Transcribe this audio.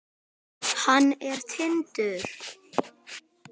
Hann er Tindur.